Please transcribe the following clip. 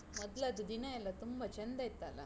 ಮೊದ್ಲದ್ದು ದಿನ ಎಲ್ಲ ತುಂಬ ಚಂದ ಇತ್ತಲ್ಲ?